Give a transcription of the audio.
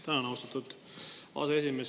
Tänan, austatud aseesimees!